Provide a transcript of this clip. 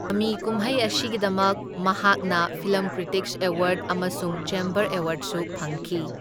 ꯃꯃꯤꯀꯨꯃꯩ ꯑꯁꯤꯒꯤꯗꯃꯛ ꯃꯍꯥꯛꯅ film critics award ꯑꯃꯁꯨꯡ ꯆꯦꯝꯕꯔ ꯑꯦꯋꯥꯔꯗꯁꯨ ꯐꯪꯈꯤ꯫